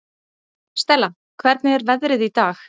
Stella, hvernig er veðrið í dag?